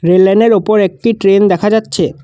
Rail লাইনের ওপর একটি ট্রেন দেখা যাচ্ছে।